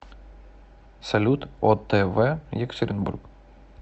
салют о тэ вэ екатеринбург